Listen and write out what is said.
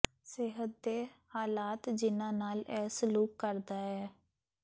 ਸਿਹਤ ਦੇ ਹਾਲਾਤ ਜਿਹਨਾਂ ਨਾਲ ਇਹ ਸਲੂਕ ਕਰਦਾ ਹੈ